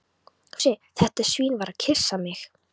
Fúsi, þetta svín, var að kyssa mig.